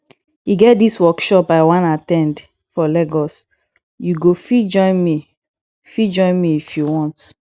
e get dis workshop i wan at ten d for lagos you go fit join me fit join me if you want